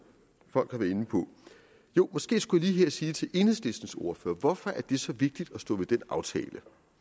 folk har været inde på måske skulle jeg lige her sige til enhedslistens ordfører hvorfor det er så vigtigt at stå ved den aftale